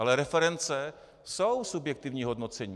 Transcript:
Ale reference jsou subjektivní hodnocení.